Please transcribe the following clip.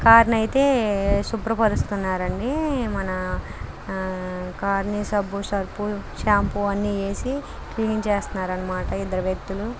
Car ని అయితే శుభ్రపరుస్తూ ఉన్నారండి మన కార్ ని సబ్బు సర్ఫ్ షాంపు అన్ని వేసి క్లీన్ చేస్తున్నారన్నమాట ఇద్దరు వ్యక్తులు.